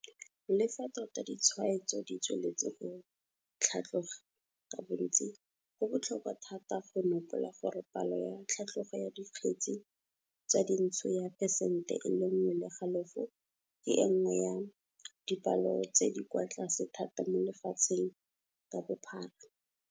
Le fa tota ditshwaetso ditsweletse go tlhatloga ka bontsi, go botlhokwa thata go nopola gore palo ya tlhatlogo ya dikgetse tsa dintsho ya phesente e le nngwe le halofo ke e nngwe ya dipalo tse di kwa tlase thata mo lefatsheng ka bophara.